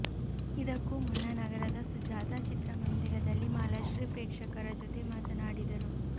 ಇದಕ್ಕೂ ಮುನ್ನ ನಗರದ ಸುಜಾತಾ ಚಿತ್ರಮಂದಿರದಲ್ಲಿ ಮಾಲಾಶ್ರೀ ಪ್ರೇಕ್ಷಕರ ಜೊತೆ ಮಾತನಾಡಿದರು